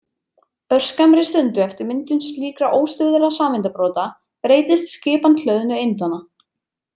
Örskammri stundu eftir myndun slíkra óstöðugra sameindabrota breytist skipan hlöðnu eindanna.